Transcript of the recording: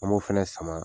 An m'o fɛnɛ sama